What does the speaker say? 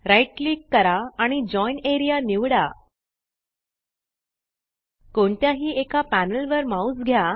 right click करा आणि join A R E A निवडा कोणत्याही एका पॅनल वर माउस घ्या